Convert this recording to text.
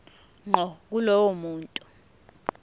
ngqo kulowo muntu